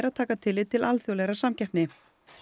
að taka tillit til alþjóðlegrar samkeppni